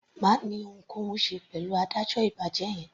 Má ni ohunkóhun ṣe pẹ̀lú adájọ́ ìbàjẹ́ yẹn.